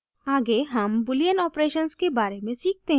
आगे हम boolean operations के बारे सीखते हैं